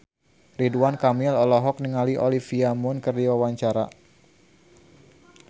Ridwan Kamil olohok ningali Olivia Munn keur diwawancara